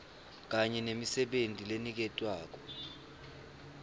kanye nemisebenti leniketwako